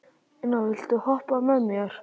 Ina, viltu hoppa með mér?